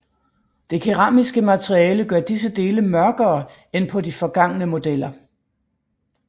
Det keramiske materiale gør disse dele mørkere end på de forgangne modeller